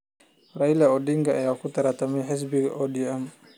Raila Odinga ayaa ku tartamay xisbiga ODM.